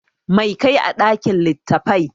Mai ka yi a ɗakin littattafai?